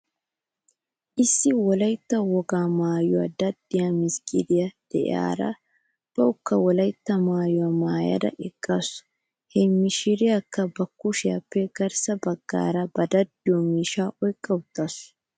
Issi wolaytta wogaa maayuwaa daddiyaa misgiriyaa de'iyaara bawkka wolaytta maayuwaa maayada eqqasu. He mishiriyaakka ba kushiyaappe garssa baggaara ba daddiyoo miishshaa oyqqawtasu.